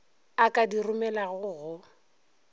a ka di romelago go